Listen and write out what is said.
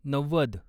नव्वद